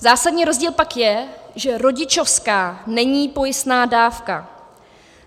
Zásadní rozdíl pak je, že rodičovská není pojistná dávka.